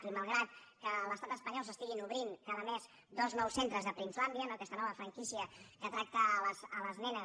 i malgrat que a l’estat espanyol s’obrin cada mes dos nous centres de princelandia no aquesta nova franquícia que tracta les nenes